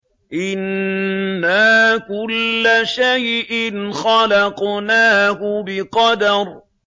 إِنَّا كُلَّ شَيْءٍ خَلَقْنَاهُ بِقَدَرٍ